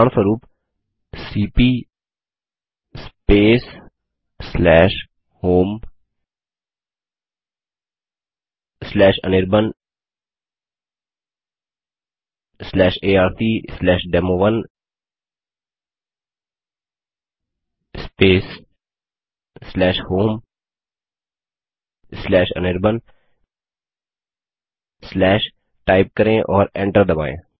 उदाहरणस्वरूप CP homeanirbanarcdemo1 homeanirban type करें और एंटर दबायें